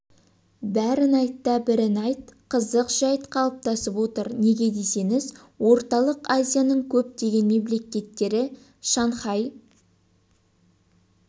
бәрін айт та бірін айт қызық жәйт қалыптасып отыр неге десеңіз орталық азияның көптеген мемлекеттері шанхай